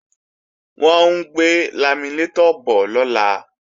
Wọ́n ń gbé laminétọ̀ bọ̀ lọ́la